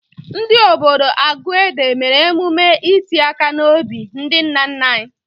Ndị obodo Aguede mere emume iti aka n'obi ndị nna nna anyị.